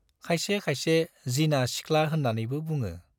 खायसे खायसे 'जिना सिख्ला' होन्नानैबो बुङो।